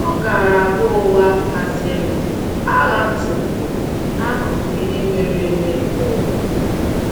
Ọ um gara- abụ ụgha kasịnụ a ghatụworo n’akụkọ ihe mere eme nke ụwa um. ”